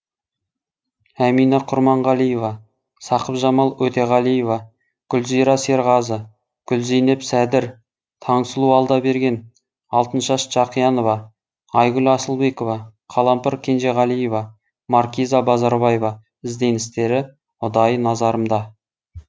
әмина құрманғалиева сақыпжамал өтеғалиева гүлзира серғазы гүлзейнеп сәдір таңсұлу алдаберген алтыншаш жақиянова айгүл асылбекова қалампыр кенжеғалиева маркиза базарбаева ізденістері ұдайы назарымда